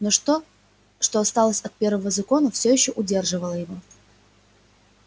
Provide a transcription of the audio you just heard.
но то что осталось от первого закона все ещё удерживало его